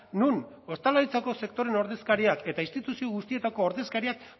non ostalaritzako sektorearen ordezkariak eta instituzio guztietako ordezkariak